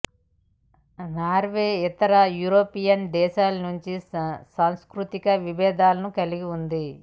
Norway ఇతర European దేశాల నుండి సాంస్కృతిక విభేదాలను కలిగి ఉంది